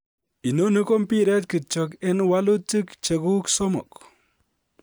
Inoni ko mpiret kityo ak wolutik cheguk somok